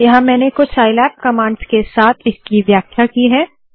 यहाँ मैंने कुछ साइलैब कमांड्स के साथ इसकी व्याख्या की है